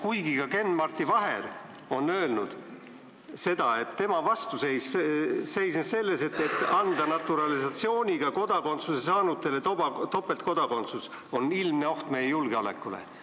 Kuigi Ken-Marti Vaher on öelnud seda, et tema vastuseis tuli naturalisatsiooniga kodakondsuse saanutele topeltkodakondsuse andmisest, sest see on ilmne oht meie julgeolekule.